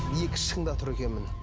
екі шыңда тұр екенмін